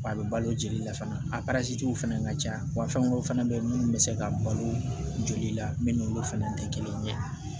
Wa a bɛ balo jeli la fana fɛnɛ ka ca wa fɛn wɛrɛw fɛnɛ be yen munnu be se ka balo joli la min n'olu fɛnɛ te kelen ye